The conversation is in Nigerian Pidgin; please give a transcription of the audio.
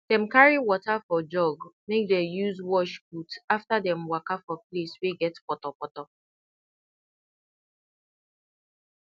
dem carry water for jug make dey use wash boot after dem waka for place wey get potopoto